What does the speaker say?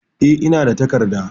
E, ina da takarda.